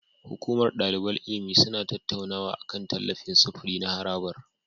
Hukumar daliban ilimi suna tattaunawa akan tallafin sufuri na harabar.